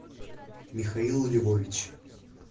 михаил львович